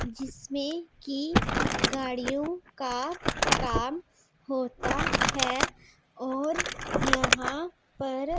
जिसमें की गाड़ियों का काम होता है और यहां पर--